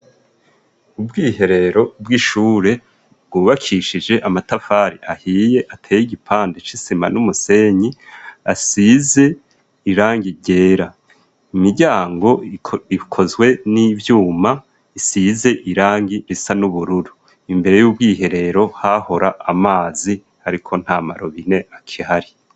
Ubwiherero bw'ishure bwubakishije amatafari ahiye ateye igipande c'isima n'umusenyi asize irangi ryera, imiryango ikozwe n'ivyuma isize irangi risa n'ubururu imbere y'ubwiherero hahora amazi ariko ntamarobine akihari.